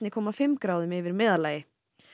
komma fimm gráðum yfir meðallagi